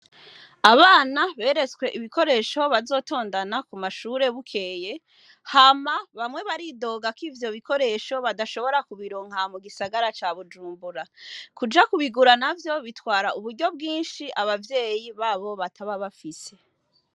Abana beretswe ibikoresho bazotondana ku mashure bukeye, hama bamwe baridoga ko ivyo bikoresho badashobora kubironka aha mu Gisagara ca Bujumbura ,kuja kubigura bitwara uburyo bwinshi ababyeyi babo bataba bafise.